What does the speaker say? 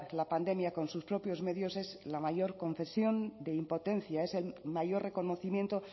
la pandemia con sus propios medios es la mayor confesión de impotencia es el mayor reconocimiento